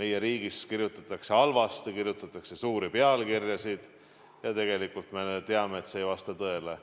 meie riigist kirjutatakse halvasti, kirjutatakse suuri pealkirjasid, kuigi tegelikult me teame, et see ei vasta tõele.